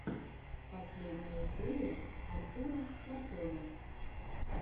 последняя серия артура картона